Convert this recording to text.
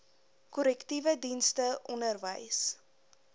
korrektiewe dienste onderwys